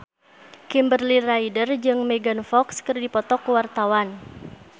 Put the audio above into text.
Kimberly Ryder jeung Megan Fox keur dipoto ku wartawan